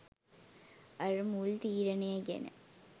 අර මුල් තීරණය ගැන